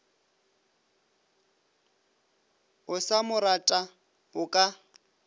o sa morata o ka